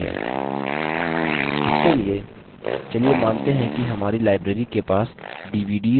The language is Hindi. इसके लिए मानते हैं कि हमारी library के पास dvds और cds हैं